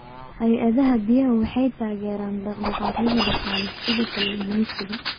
Hay'adaha biyuhu waxay taageeraan dhaqdhaqaaqyada dhaqaale, sida kalluumaysiga.